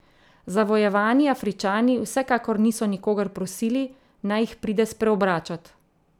Zavojevani Afričani vsekakor niso nikogar prosili, naj jih pride spreobračat.